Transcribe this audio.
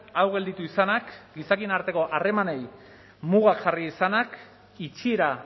hau gelditu izanak gizakien arteko harremanei mugak jarri izanak itxiera